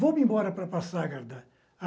Vou me embora para Passagarda.